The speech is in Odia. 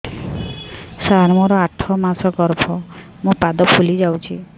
ସାର ମୋର ଆଠ ମାସ ଗର୍ଭ ମୋ ପାଦ ଫୁଲିଯାଉଛି